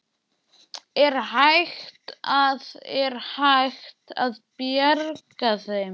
Er hægt að, er hægt að bjarga þeim?